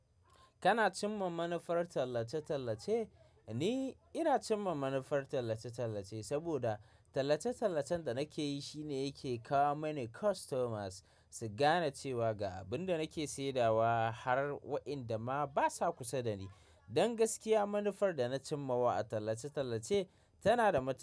Kana cimma manufar tallace-tallace? Eh, ina cimma manufar tallace-tallace, saboda tallace-tallacen da nake yi shine yake kawo mana customers. Su gane cewa ga abin da nake saidawa har wa'inda ma basa kusa da ni. Don gaskiya, manufar da na cimmawa a tallace-tallace tana da matu.